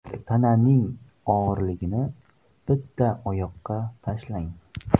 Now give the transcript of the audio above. Tananing og‘irligini bitta oyoqqa tashlang.